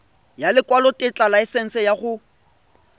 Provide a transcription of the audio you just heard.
ya lekwalotetla laesense ya go